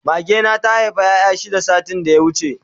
Mage na ta Haifa ƴaƴa shida satin da ya wuce